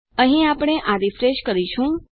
000549 000548 અને આપણે આ રીફ્રેશ કરીશું